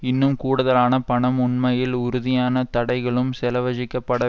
இன்னும் கூடுதலான பணம் உண்மையில் உறுதியான தடைகளும் செலவஜிக்கப்பட